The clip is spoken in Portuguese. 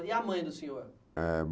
E a mãe do senhor? Eh